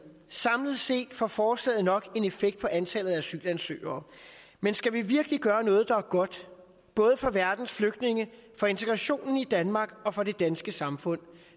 samlet set får forslaget nok en effekt på antallet af asylansøgere men skal vi virkelig gøre noget der er godt både for verdens flygtninge for integrationen i danmark og for det danske samfund